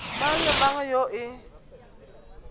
mang le mang yoo e